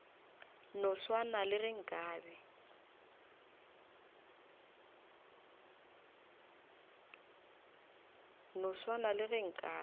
no swana le ge nkabe